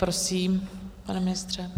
Prosím, pane ministře.